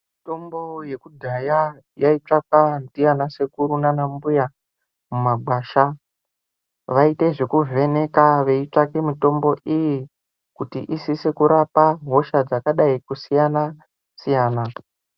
Mitombo yekudhaya yaitsvakwa ndiana sekuru naana mbuya mumagwasha vaite zvekuvheneka veitsvake mitombo iyi kuti isise kurapa hosha dzakadai kusiyana siyana.